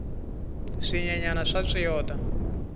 swinyenyani swa tswiyota